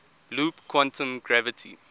loop quantum gravity